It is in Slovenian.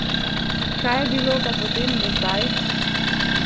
Kaj je bilo pa potem do zdaj?